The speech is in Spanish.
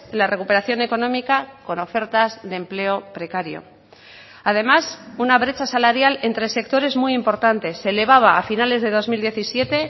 la recuperación económica con ofertas de empleo precario además una brecha salarial entre sectores muy importantes se elevaba a finales de dos mil diecisiete